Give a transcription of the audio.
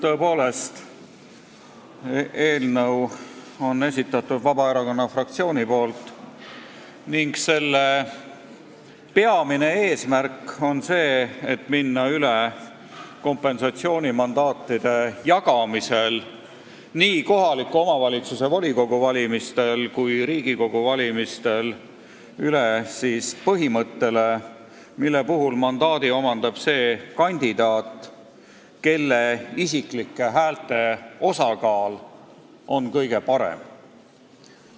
Tõepoolest, eelnõu on esitanud Vabaerakonna fraktsioon ning selle peamine eesmärk on minna kompensatsioonimandaatide jagamisel – nii kohaliku omavalitsuse volikogu kui ka Riigikogu valimistel – üle põhimõttele, mille puhul mandaadi omandab see kandidaat, kelle isiklike häälte osakaal on kõige parem.